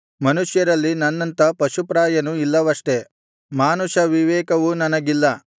ಮನುಷ್ಯರಲ್ಲಿ ನನ್ನಂಥ ಪಶುಪ್ರಾಯನು ಇಲ್ಲವಷ್ಟೆ ಮಾನುಷ ವಿವೇಕವು ನನಗಿಲ್ಲ